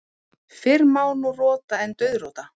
Fyrr má nú rota en dauðrota.